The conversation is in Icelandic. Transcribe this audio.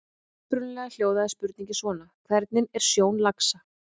Upprunalega hljóðaði spurningin svona: Hvernig er sjón laxa?